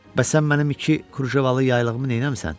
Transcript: Bəs sən mənim iki krujevaılı yaylığımı neyləmisən?